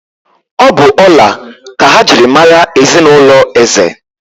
Ọ̀ bụ ọla ka ha ji mara ezinụlọ Eze?